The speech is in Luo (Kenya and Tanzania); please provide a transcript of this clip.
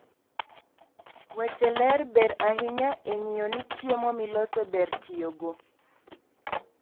weche ler ber ahinya e ng'iyo ni chiemo miloso ber tiyogo